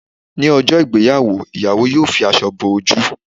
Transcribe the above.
Ní ọjọ́ ìgbéyàwó, ìyàwó yọ fi aṣọ bo ojú